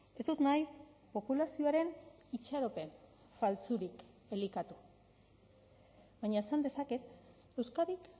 ez dut nahi populazioaren itxaropen faltsurik elikatu baina esan dezaket euskadik